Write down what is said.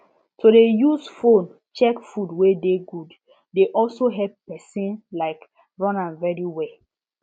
to dey use phone check food wey good dey also help person um run am very well